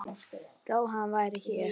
Þó hann væri hér.